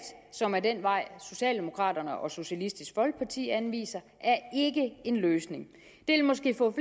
som er den vej socialdemokraterne og socialistisk folkeparti anviser er ikke en løsning det vil måske få